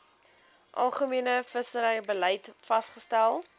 algemene visserybeleid vasgestel